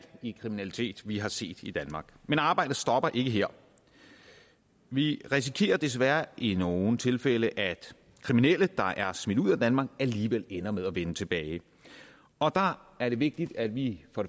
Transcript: i kriminalitet vi har set i danmark men arbejdet stopper ikke her vi risikerer desværre i nogle tilfælde at kriminelle der er smidt ud af danmark alligevel ender med at vende tilbage og der er det vigtigt at vi for